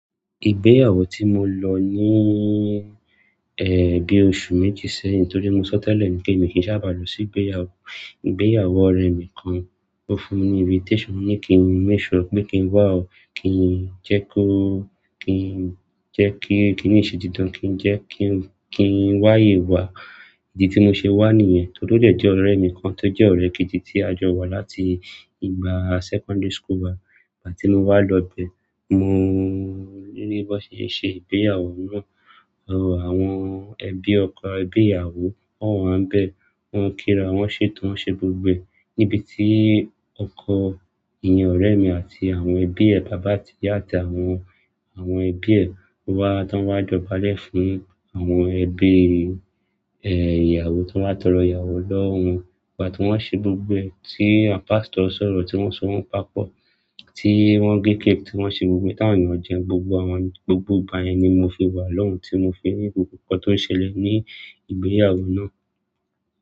Ìgbéyàwó tí mo lọ ní, ẹ, bi oṣù méjì sẹ́yìn torí mo sọ tẹ́lẹ̀ pé èmi kì í sábà lọ sí ìgbéyàwó. Ìgbéyàwó ọ̀rẹ́ mi kan, ó fún mi ní invitation, ó ní kí n make sure, pé kí n wá kí jẹ́ kó, kí jẹ́ kí n ní ìṣe dídán, kí jẹ́ kí n, kí n wáyé wá. Idi tí mo ṣe wá nìyẹn, tóri o dẹ́ ọ̀rẹ́ mi kan tó jẹ́ ọ̀rẹ́ kejì tí a jọ wá láti ìgbà secondary school wa. Ìgbà tí mo wá lọ bẹ, mo rí bí wọ́n ṣe ń ṣe ìgbéyàwó náà. Àwọn ẹbí ọkọ ẹbí ìyàwó, won wà níbẹ̀, wọ́n ń kíra, wọ́n ń ṣètò, wọ́n ń ṣe gbogbo ẹ. Nibiti ọkọ ènìyàn ọ̀rẹ́ mi àti àwọn ẹbí ẹ, bàbá àti ìyá àti àwọn, àwọn ẹbí ẹ wá, tí wọ́n ń jóbalẹ̀ fún àwọn ẹbí, ẹ, ìyàwó tí wọ́n bá tọ́ lọ ìyàwó lọ́wọ wọn. Ìgbà tí wọ́n ń ṣe gbogbo ẹ, tí àwọn pastor ń sọ̀rọ̀, tí wọ́n ń so wọn papọ̀, tí wọ́n ń gé cake, tí wọ́n ń ṣe gbogbo, tí àwọn ènìyàn jẹun, gbogbo àwọn, gbogbo ìgbà yẹn ni mo fi wà lọ́hun, tí mo fi rí gbogbo nǹkan tó ń ṣẹlẹ̀ ní ìgbéyàwó náà.